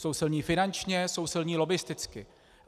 Jsou silní finančně, jsou silní lobbisticky.